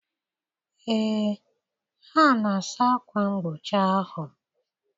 Ee, ha na-asa akwa mgbochi ahụ.